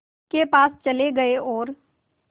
के पास चले गए और